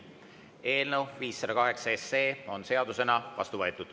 Eelnõu 508 on seadusena vastu võetud.